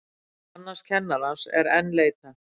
Annars kennarans er enn leitað